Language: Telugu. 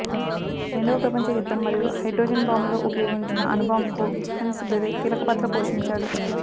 రెండవ ప్రపంచ యుద్ధం మరియు హైడ్రోజన్ బాంబులో ఉపయోగించిన అణు బాంబుకు హన్స్ బెథే కీలక పాత్ర పోషించాడు